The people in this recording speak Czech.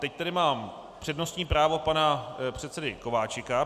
Teď tady mám přednostní právo pana předsedy Kováčika.